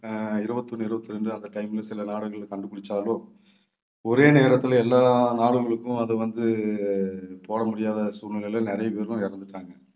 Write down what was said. அஹ் இருபத்தி ஒண்ணு இருபத்தி இரண்டு அந்த time ல சில நாடுகள்ல கண்டுபிடிச்சாலும் ஒரே நேரத்துல எல்லா நாடுகளுக்கும் அது வந்து போட முடியாத சூழ்நிலையில நிறைய பேரும் இறந்துட்டாங்க.